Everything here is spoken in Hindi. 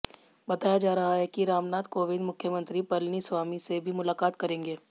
बताया जा रहा है कि रामनाथ कोविंद मुख्यमंत्री पलनीस्वामी से भी मुलाक़ात करेंगे